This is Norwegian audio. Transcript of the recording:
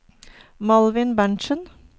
Malvin Berntzen